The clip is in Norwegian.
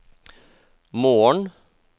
morgen